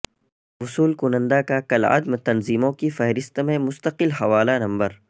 وصول کنندہ کا کالعدم تنظیموں کی فہرست میں مستقل حوالہ نمبر